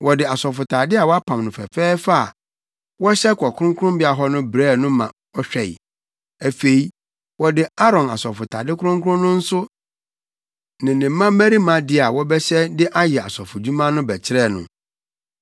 Wɔde asɔfotade a wɔapam no fɛfɛɛfɛ a wɔhyɛ kɔ kronkronbea hɔ no brɛɛ no ma ɔhwɛe. Afei, wɔde Aaron asɔfotade kronkron no nso ne ne mmabarima de a wɔbɛhyɛ de ayɛ asɔfodwuma no bɛkyerɛɛ no.